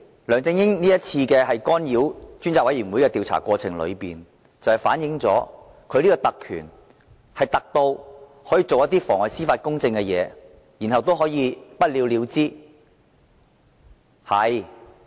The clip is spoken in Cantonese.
梁振英這次干擾專責委員會的調查過程，反映出其特權是"特"至可作出妨礙司法公正的事，然後不了了之。